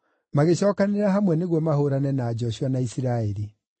magĩcookanĩrĩra hamwe nĩguo mahũũrane na Joshua na Isiraeli.